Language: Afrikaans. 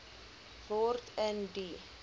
word in die